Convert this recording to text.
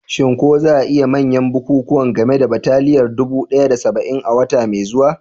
Shin ko za a yi manyan bukukuwan game da bataliyar dubu ɗaya da saba'in a wata mai zuwa?